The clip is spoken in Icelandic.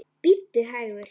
Bíddu hægur.